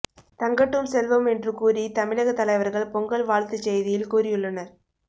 தங்கட்டும் செல்வம் என்று கூறி தமிழக தலைவர்கள் பொங்கல் வாழ்த்துச்செய்தியில் கூறியுள்ளனர்